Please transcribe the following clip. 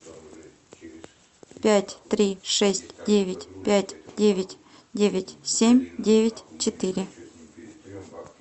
пять три шесть девять пять девять девять семь девять четыре